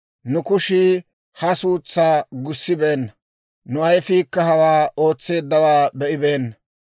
‹Nu kushii ha suutsaa gussibeenna; nu ayifiikka hawaa ootseeddawaa be'ibeenna.